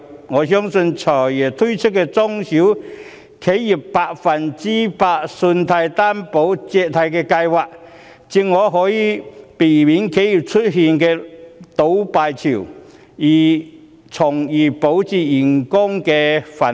我相信，"財爺"推出的中小企業百分百擔保借貸的計劃正好可以避免企業出現倒閉潮，從而保住員工"飯碗"。